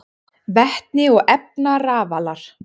Vetni og efnarafalar: